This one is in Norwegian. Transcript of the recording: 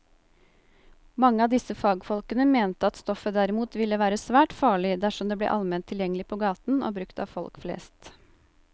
Mange av disse fagfolkene mente at stoffet derimot ville være svært farlig dersom det ble allment tilgjengelig på gaten og brukt av folk flest.